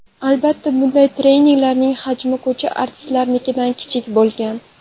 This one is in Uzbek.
Albatta, bunday treylerlarning hajmi ko‘cha artistlarinikidan kichik bo‘lgan.